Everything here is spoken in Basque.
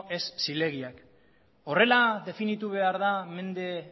ez zilegiak horrela definitu behar da mende